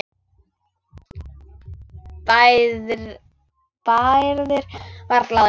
Bærðir varla á þér.